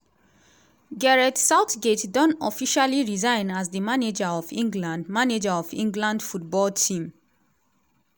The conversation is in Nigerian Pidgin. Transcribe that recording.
gareth southgate don officially resign as di manager of england manager of england football team.